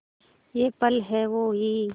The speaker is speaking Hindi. ये पल हैं वो ही